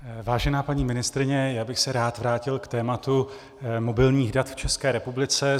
Vážená paní ministryně, já bych se rád vrátil k tématu mobilních dat v České republice.